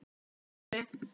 Jónsson fyrir Önnu.